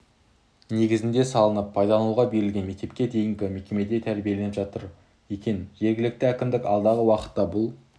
негізінде салынып пайдалануға берілген мектепке дейінгі мекемеде тәрбиеленіп жатыр екен жергілікті әкімдік алдағы уақытта бұл